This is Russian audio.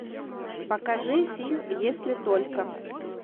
покажи фильм если только